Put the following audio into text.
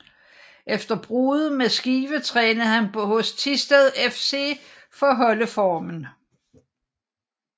Efter bruddet med Skive trænede han hos Thisted FC for at holde formen